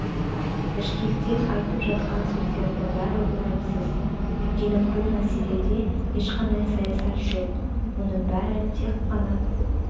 бішкектен айтып жатқан сөздердің бәрі орынсыз өйткені бұл мәселеде ешқандай саясат жоқ мұның бәрі тек қана